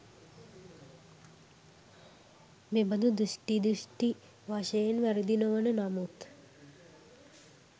මෙබඳු දෘෂ්ටි, දෘෂ්ටි වශයෙන් වැරදි නොවන නමුත්